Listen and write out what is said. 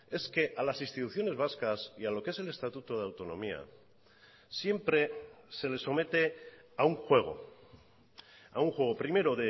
es que a las instituciones vascas y a lo que es el estatuto de autonomía siempre se le somete a un juego a un juego primero